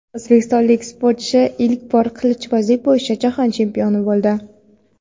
O‘zbekistonlik sportchi ilk bor qilichbozlik bo‘yicha jahon chempioni bo‘ldi.